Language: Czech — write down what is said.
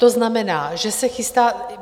To znamená, že se chystá...